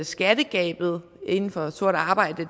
skattegabet inden for sort arbejde